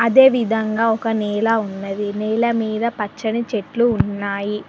ఇదే విధంగా ఒక నేల ఉన్నది నేల మీద పచ్చని చెట్లు ఉన్నాయి.